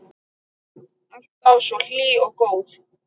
Alltaf svo hlý og góð.